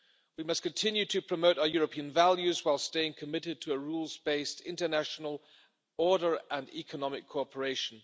We must continue to promote our European values whilst staying committed to a rules based international order and economic cooperation.